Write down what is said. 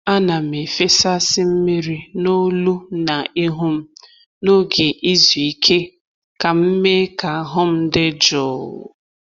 A na'm efesasị mmiri n’olu na ihu m n’oge izu ike ka m mee ka ahụ m dị jụụ.